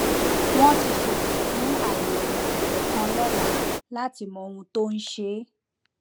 wọn ti ṣètò fún àyẹwò ẹdọ kan lọla láti mọ ohun tó ń ṣe é